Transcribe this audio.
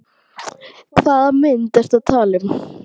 Hvaða myndir ertu að tala um?